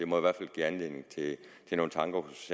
må det give anledning til nogle tanker hos